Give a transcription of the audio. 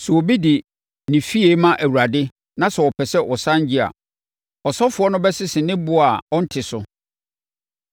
“ ‘Sɛ obi de ne fie ma Awurade na sɛ ɔpɛ sɛ ɔsane gye a, ɔsɔfoɔ no bɛsese ne boɔ a ɔnte so,